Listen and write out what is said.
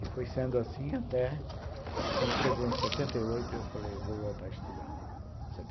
E foi sendo assim até, quando chegou em setenta e oito, eu falei, vou voltar a estudar.